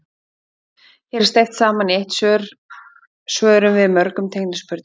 Hér er steypt saman í eitt svar svörum við mörgum tengdum spurningum.